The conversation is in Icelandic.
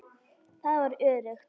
Það var öruggt.